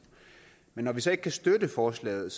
men når vi så ikke kan støtte forslaget